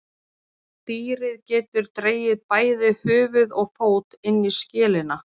Dýrið getur dregið bæði höfuð og fót inn í skelina.